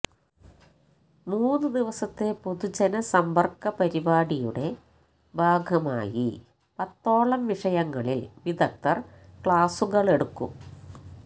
മൂന്നു ദിവസത്തെ പൊതുജനസമ്പര്ക്ക പരിപാടിയുടെ ഭാഗമായി പത്തോളം വിഷയങ്ങളില് വിദഗ്ധര് ക്ലാസ്സുകളെടുക്കും